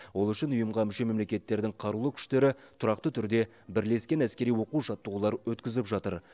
ол үшін ұйымға мүше мемлекеттердің қарулы күштері тұрақты түрде бірлескен әскери оқу жаттығулар өткізіп жатыр